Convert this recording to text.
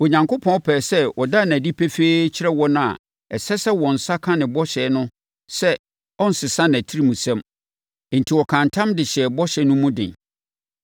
Onyankopɔn pɛɛ sɛ ɔda no adi pefee kyerɛ wɔn a na ɛsɛ sɛ wɔn nsa ka ne bɔhyɛ no sɛ ɔrensesa nʼatirimsɛm, enti ɔkaa ntam de hyɛɛ bɔhyɛ no mu den.